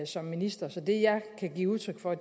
som minister så det jeg kan give udtryk for